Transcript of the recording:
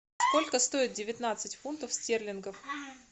сколько стоит девятнадцать фунтов стерлингов